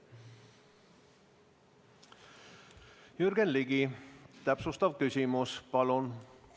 Jürgen Ligi, täpsustav küsimus, palun!